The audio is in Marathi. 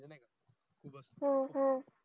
हम्म